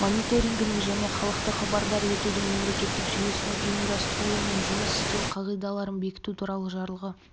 мониторингінің және халықты хабардар етудің мемлекеттік жүйесінің ұйымдастырылуы мен жұмыс істеуі қағидаларын бекіту туралы жарлығы